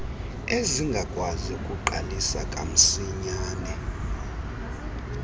ezingakwazi ukuqalisa kamsinyane